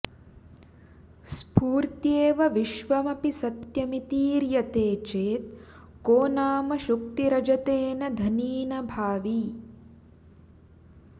स्फूर्त्यैव विश्वमपि सत्यमितीर्यते चेत् को नाम शुक्तिरजतेन धनीनभावि